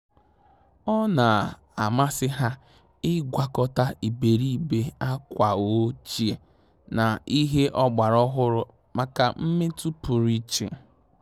Ọ́ nà-àmàsị́ há ị́gwakọta ìbèrìbè ákwà ọ́chíè na ìhè ọ́gbàrà ọ́hụ́rụ́ màkà mmètụ́ pụrụ iche.